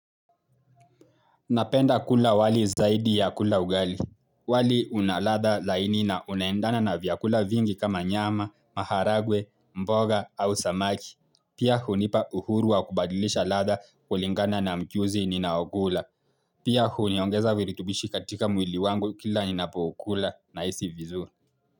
Napenda kula wali zaidi ya kula ugali. Wali unaladha laini na unaendana na vyakula vingi kama nyama, maharagwe, mboga au samaki. Pia hunipa uhuru wa kubadilisha ladha kulingana na mchuzi ninaokula. Pia huniongeza viritubishi katika mwili wangu kila ninapokula nahisi vizuri.